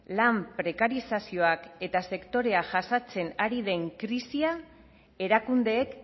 lan prekarizazioak eta sektorea jasaten ari den krisia erakundek